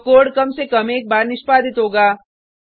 तो कोड कम से कम एक बार निष्पादित होगा